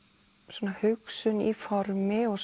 svona hugsun í formi og